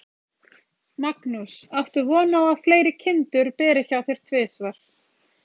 Magnús: Áttu von á að fleiri kindur beri hjá þér tvisvar?